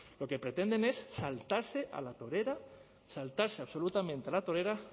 lo que pretenden es saltarse a la torera saltarse absolutamente a la torera